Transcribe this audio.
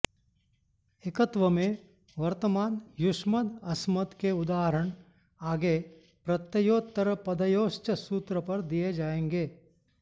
एकत्व में वर्तमान युष्मद् अस्मद् के उदाहरण आगे प्रत्ययोत्तरपदयोश्च सूत्र पर दिये जायेंगे